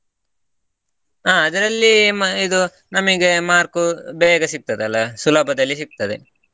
ಹಾ ಅದರಲ್ಲಿ ಇದು ನಮಗೆ marks ಉ ಬೇರೆ ಸಿಗ್ತದ ಅಲ್ಲಾ ಸುಲಭದಲ್ಲಿ ಸಿಗ್ತದೆ.